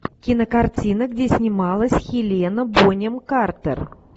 кинокартина где снималась хелена бонем картер